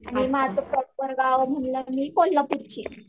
आणि माझं प्रॉपर गावं म्हटलं मी कोल्हापूरची आहे.